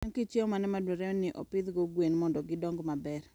En kit chiemo mane madwarore ni opidhgo gwen mondo gidong maber?